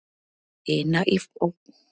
ina á forstofunni.